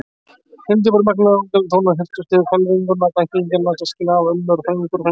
Hyldjúpir og magnaðir orgeltónar helltust yfir hvelfinguna, alla ættingjana, systkini, afa, ömmur, frændur og frænkur.